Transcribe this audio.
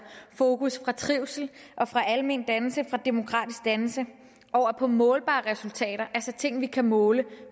fokus fra trivsel og fra almendannelse og fra demokratisk dannelse over på målbare resultater altså ting vi kan måle